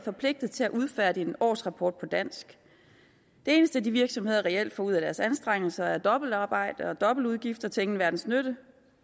forpligtet til at udfærdige en årsrapport på dansk det eneste de virksomheder reelt får ud af deres anstrengelser er dobbeltarbejde og dobbeltudgifter til ingen verdens nytte